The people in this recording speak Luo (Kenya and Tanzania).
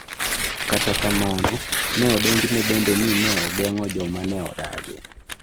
Kata kamano, ne odonjne bende ni ne ogeng’o joma ne odagi.